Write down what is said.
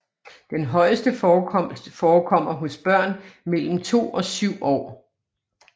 Den højeste forekomst forekommer hos børn mellem 2 og 7 år